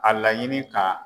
A laɲini ka